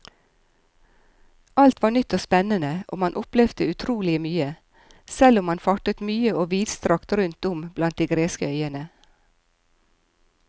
Alt var nytt og spennende og man opplevde utrolig mye, selv om man fartet mye og vidstrakt rundt om blant de greske øyene.